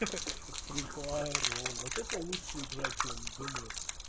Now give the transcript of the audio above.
ха-ха фри фаер вот это лучшая игра чем думаю